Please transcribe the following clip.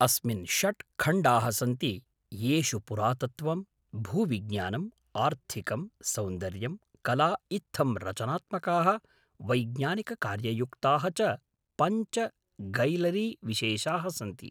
अस्मिन् षट् खण्डाः सन्ति येषु पुरातत्त्वं, भूविज्ञानम्, आर्थिकं, सौन्दर्यम्, कला इत्थं रचनात्मकाः वैज्ञानिककार्ययुक्ताः च पञ्च गैलरीविशेषाः सन्ति।